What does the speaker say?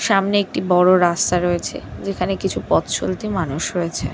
সামনে একটি বড় রাস্তা রয়েছে যেখানে কিছু পথ চলতি মানুষ রয়েছে।